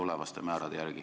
See kindlasti lõpeb.